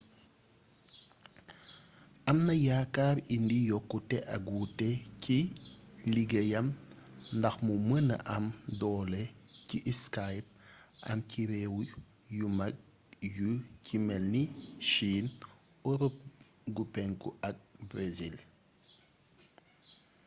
amna yaakaar indi yokkute ak wuute ci liggéeyam ndax mu mëna am doole ji skype am ci réew yu mag yu ci melni chine europe gu penku ak brésil